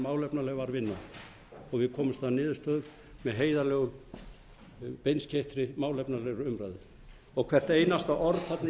málefnalega var vinnan og við komumst að niðurstöðu með heiðarlegri beinskeyttri málefnalegri umræðu og hvert einasta orð